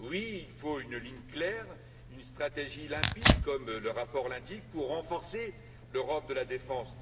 Oui, il faut une ligne claire, une stratégie limpide, comme le rapport l'indique, pour renforcer l'Europe de la défense.